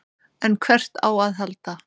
En hvert á að halda?